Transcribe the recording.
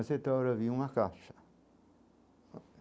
A certa hora vi uma caixa.